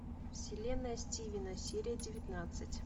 вселенная стивена серия девятнадцать